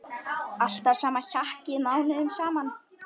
Alltaf sama hjakkið mánuðum saman!